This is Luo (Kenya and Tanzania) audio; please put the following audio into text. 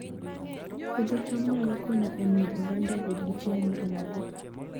Puodho cham nyalo konyo e miyo oganda obed gi chiemo moromogi